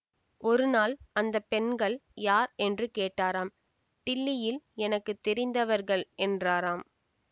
ஒரு நாள் அந்த பெண்கள் யார் என்று கேட்டாராம் டில்லியில் எனக்கு தெரிந்தவர்கள் என்றாராம்